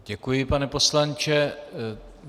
Děkuji, pane poslanče.